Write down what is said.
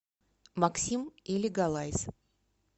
максим и лигалайз